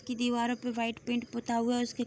की दीवारो पे वाइट पेंट पोता हुआ है उसके --